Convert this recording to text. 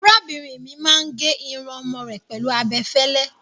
Arábìnrin mi máa ń gé irun ọmọ rẹ̀ pẹ̀lú abẹ fẹ́lẹ́.